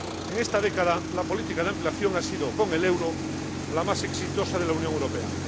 En esta década, la política de ampliación ha sido, con el euro, la más exitosa de la Unión Europea.